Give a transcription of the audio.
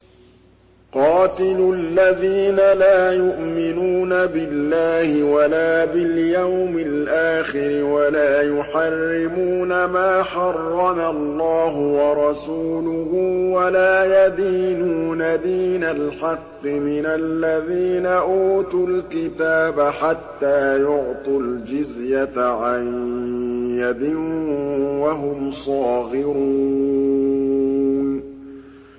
قَاتِلُوا الَّذِينَ لَا يُؤْمِنُونَ بِاللَّهِ وَلَا بِالْيَوْمِ الْآخِرِ وَلَا يُحَرِّمُونَ مَا حَرَّمَ اللَّهُ وَرَسُولُهُ وَلَا يَدِينُونَ دِينَ الْحَقِّ مِنَ الَّذِينَ أُوتُوا الْكِتَابَ حَتَّىٰ يُعْطُوا الْجِزْيَةَ عَن يَدٍ وَهُمْ صَاغِرُونَ